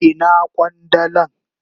Ina kwandalan?